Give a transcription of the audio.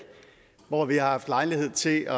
hvor vi har haft lejlighed til